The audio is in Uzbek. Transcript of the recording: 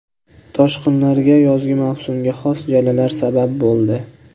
Toshqinlarga yozgi mavsumga xos jalalar sabab bo‘ldi.